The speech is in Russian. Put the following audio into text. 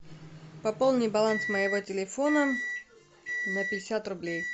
пополни баланс моего телефона на пятьдесят рублей